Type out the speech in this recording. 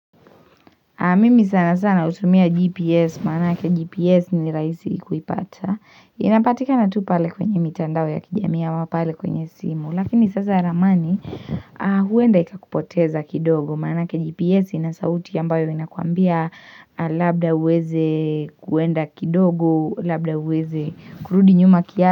Mimi sana sana hutumia gps maanake gps ni rahisi kuipata inapatikana tu pale kwenye mitandao ya kijamii ama pale kwenye simu lakini sasa ramani huenda ikakupoteza kidogo maanake gps inansauti ambayo inakuambia labda uweze kuenda kidogo labda uweze kurudi nyuma kia.